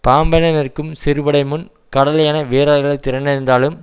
பாம்பென நிற்கும் சிறுபடை முன் கடல் என வீரர்கள் திரண்டிருந்தாலும்